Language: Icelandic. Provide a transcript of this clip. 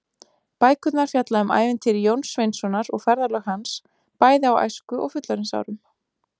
Bækurnar fjalla um ævintýri Jóns Sveinssonar og ferðalög hans, bæði á æsku- og fullorðinsárum.